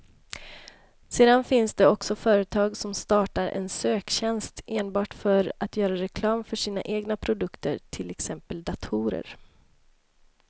Sedan finns det också företag som startar en söktjänst enbart för att göra reklam för sina egna produkter, till exempel datorer.